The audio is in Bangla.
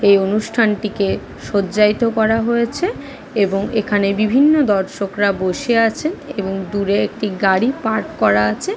এই অনুষ্ঠানটিকে শয্যায়িত করা হয়েছে এবং এখানে বিভিন্ন দর্শকরা বসে আছেন এবং দূরে একটি গাড়ি পার্ক করা আছে।